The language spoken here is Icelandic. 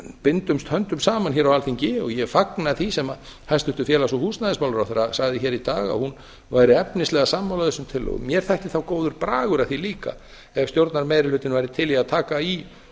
bindumst höndum saman hér á alþingi og ég fagna því sem hæstvirtur félags og húsnæðismálaráðherra sagði hér í dag að hún væri efnislega sammála þessum tillögum mér þætti þá góður bragur að því líka ef stjórnarmeirihlutinn væri til í að taka í